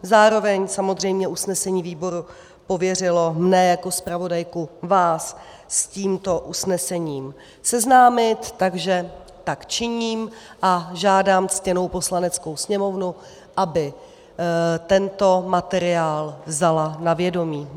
Zároveň samozřejmě usnesení výboru pověřilo mne jako zpravodajku vás s tímto usnesením seznámit, takže tak činím a žádám ctěnou Poslaneckou sněmovnu, aby tento materiál vzala na vědomí.